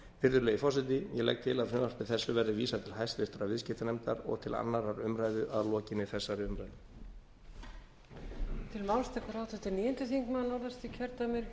virðulegi forseti ég legg til að frumvarpi þessu verði vísað til háttvirtrar viðskiptanefndar og til annarrar umræðu að lokinni þessari umræðu